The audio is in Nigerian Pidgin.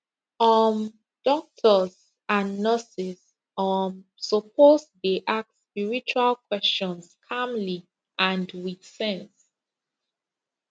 um doctors and nurses um suppose dey ask spiritual questions calmly and with sense